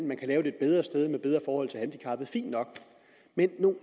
man lave et bedre sted med bedre forhold til handicappede fint nok men i